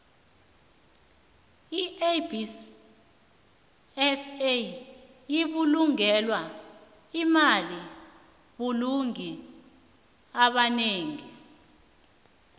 iabsa yibulungelo elina bulungi ebanengi